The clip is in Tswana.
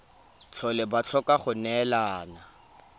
tlhole ba tlhoka go neelana